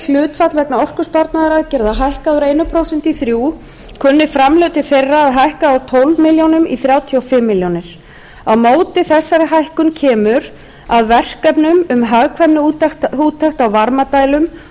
hlutfall vegna orkusparnaðaraðgerða hækkað úr einu prósenti í þrjú prósent kunni framlög til þeirra að hækka úr tólf milljónir króna í þrjátíu og fimm milljónir króna á móti þessari hækkun kemur að verkefnum um hagkvæmniúttekt á varmadælum